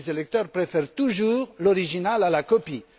Les électeurs préfèrent toujours l'original à la copie.